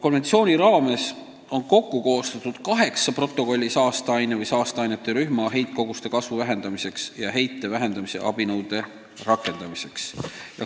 Konventsiooni raames on kokku koostatud kaheksa protokolli saasteaine või saasteainete rühma heitkoguste kasvu vähendamiseks ja heite vähendamise abinõude rakendamiseks.